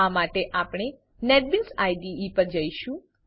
આ માટે આપણે નેટબીન્સ આઇડીઇ નેટબીન્સ આઈડીઈ પર જશું